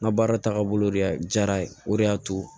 N ka baara taaga boloyara o de y'a to